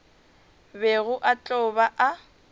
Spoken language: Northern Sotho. bego a tlo ba a